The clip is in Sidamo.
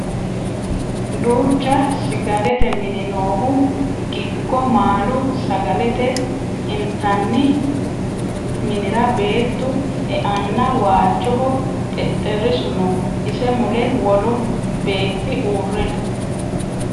duucha sgalete mini noohu giggo maalu sagale intanni minira beettu e"anna waalchoho xexxerrisu no ise mule wolu beetti uure no